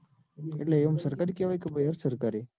એટલે આમ સરકારી કેવાય કે અધઃ સરકારી?